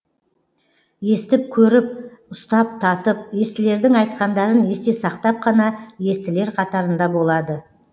естіп көріп ұстап татып естілердің айтқандарын есте сақтап қана естілер қатарында болады